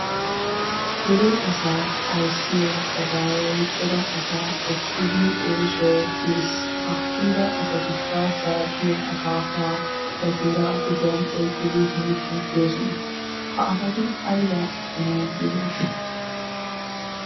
Dere asaa ayssiya gadaaway cora asaa ekkidi oosuwawu kiyiis. Ha kiyida asatikka zaappiya, akaafaa, qonccooraa, kushiyan oyqqidi hemettoosona. Ha asati aybaa oottanawu biyonaasha?